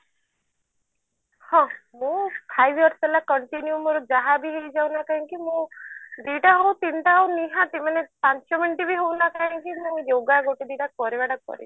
ହଁ ମୁଁ five years ହେଲା continue ମୋର ଯାହାବି ହେଇଯାଉ ନା କାହିଁ କି ମୁଁ ଦିଟା ହଉ ତିନିଟା ହଉ ନିହାତି ମାନେ ପାଞ୍ଚ minute ବି ହଉ ନା କାଇଁ କି ମୋର yoga ଗୋଟେ ଦିଟା କରିବା ଟା କରିବି